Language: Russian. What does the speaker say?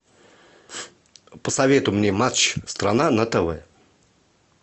посоветуй мне матч страна на тв